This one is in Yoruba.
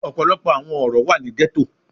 Ọpọlọpọ awọn oro wa ni ghetto